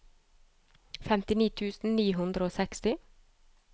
femtini tusen ni hundre og seksti